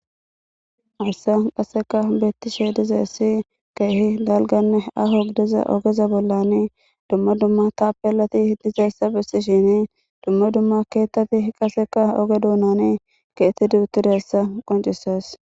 Hayssa qaseka beettishe dizaysi keehi dalganne aho gidiza ogeza bollani dumma dumma taapelati dizassa bessishini dumma dumma keettati qaseka oge duunani keexxetidi utidayassa qoncisees.